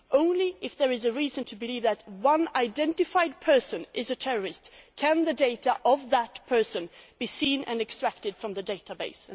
Only if there is a reason to believe that one identified person is a terrorist can the data of that person be seen and extracted from the database.